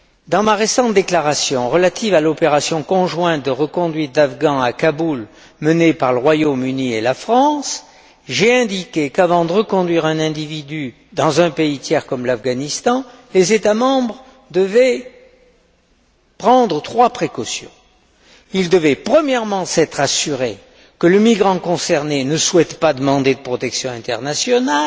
Dans ma récente déclaration relative à l'opération conjointe de reconduite d'Afghans à Kaboul menée par le Royaume Uni et la France, j'ai indiqué qu'avant de reconduire un individu dans un pays tiers comme l'Afghanistan, les États membres devaient prendre trois précautions. Ils devaient, premièrement, s'être assurés que le migrant concerné ne souhaite pas demander de protection internationale